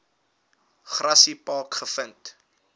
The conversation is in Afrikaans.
grassy park gevind